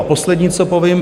A poslední, co povím.